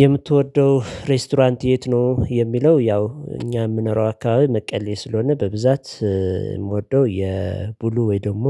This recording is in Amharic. የምትወደው ሬስቶራንት የት ነው? የሚለው ያው እኛ የምንኖረው አካባቢ መቀሌ ስለሆነ በብዛት የምወደው የቡሉ ወይ ደግሞ